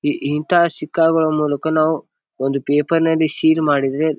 ಇಂತ ಶಿಕಾಗುವ ಮೂಲಕ ನಾವು ಒಂದು ಪೇಪರ್ ನಲ್ಲಿ ಸೀಲ್ ಮಾಡಿದ್ರೆ--